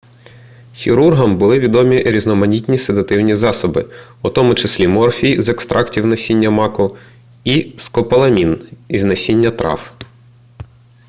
хірургам були відомі різноманітні седативні засоби у тому числі морфій з екстрактів насіння маку і скополамін із насіння трав